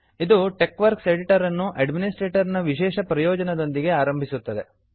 ಇದು TeXwork editor ಅನ್ನು administrator ನ ವಿಶೇಷ ಪ್ರಯೋಜನದೊಂದಿಗೆ ಆರಂಭಿಸುತ್ತದೆ